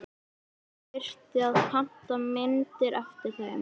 Svo þyrfti að panta myndir eftir þeim.